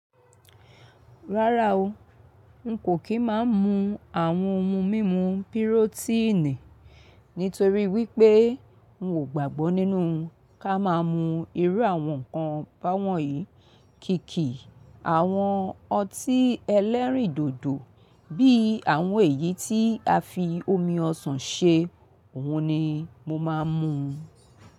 Rárá o, n kò kì í máa mú àwọn ohun mímu pirotíìnì nítorí wípé n ò gbàgbọ́ nínú ká máa mú irú àwọn ǹkan báwọn yìí. Kìkì àwọn ọtí ẹlẹ́rìndòdò bí i àwọn èyí tí a fi omi ọsàn ṣe òhun ni mo máa ń mú.